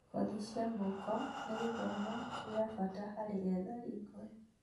Kothi cia moko cia moko nĩ gĩthomo gĩa bata harĩ ethari ngũĩ